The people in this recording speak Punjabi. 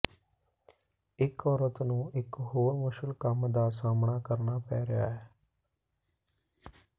ਇੱਕ ਔਰਤ ਨੂੰ ਇੱਕ ਹੋਰ ਮੁਸ਼ਕਲ ਕੰਮ ਦਾ ਸਾਹਮਣਾ ਕਰਨਾ ਪੈ ਰਿਹਾ ਹੈ